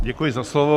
Děkuji za slovo.